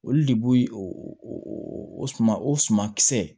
Olu de b'o o suman o suma kisɛ